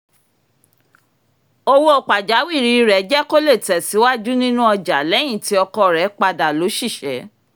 owó pajawìrì rẹ̀ jẹ́ kó lè tẹ̀síwájú nínú ọjà lẹ́yìn tí ọkọ rẹ̀ padà lóṣìṣẹ́